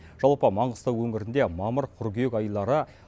жалпы маңғыстау өңірінде мамыр қыркүйек айлары